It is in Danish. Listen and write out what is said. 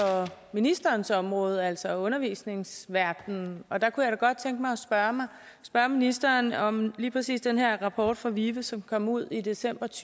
ministerens område altså undervisningsverdenen og der kunne jeg da godt tænke mig at spørge ministeren om lige præcis den her rapport fra vive som kom ud i december to